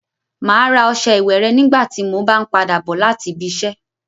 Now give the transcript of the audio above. Mà á ra ọṣẹ ìwẹ̀ rẹ nígbà tí mo b ń padà bọ láti ibiṣẹ́.